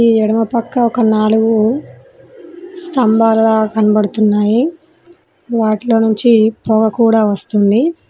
ఈ ఎడమ పక్క ఒక నాలుగు స్తంభాలుగా కనబడుతున్నాయి వాటిలో నుంచి పొగ కూడా వస్తుంది.